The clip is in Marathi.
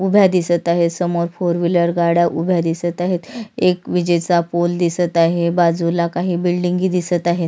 उभ्या दिसत आहे समोर फोर व्हीलर गाड्या उभ्या दिसत आहेत एक विजेचा पोल दिसत आहे बाजूला काही बिल्डिंग हि दिसत आहेत.